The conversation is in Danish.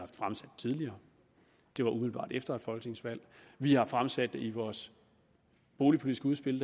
fremsat tidligere det var umiddelbart efter et folketingsvalg vi har fremsat det i vores boligpolitiske udspil